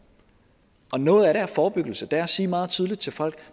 noget af det er forebyggelse det er at sige meget tydeligt til folk at